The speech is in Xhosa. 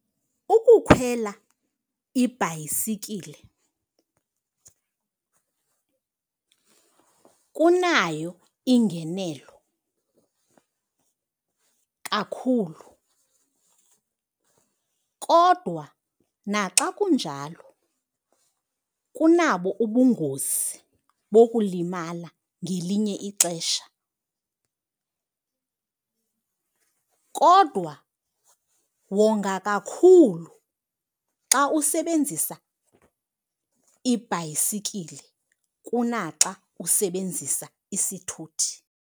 Ukukhwela ibhayisikile kunayo ingenelo kakhulu kodwa naxa kunjalo kunabo ubungozi bokulimala ngelinye ixesha. Kodwa wonga kakhulu xa usebenzisa ibhayisikile kunaxa usebenzisa isithuthi.